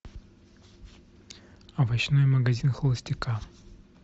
овощной магазин холостяка